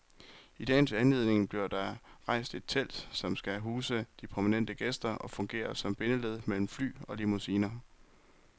I dagens anledning bliver der rejst et telt, som skal huse de prominente gæster og fungere som bindeled mellem fly og limousiner.